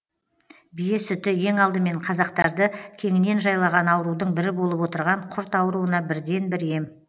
бие сүті ең алдымен қазақтарды кеңінен жайлаған аурудың бірі болып отырған құрт ауруына бірден бір ем